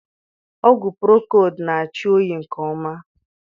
Ọgwụ prokold na achị oyi nke ọma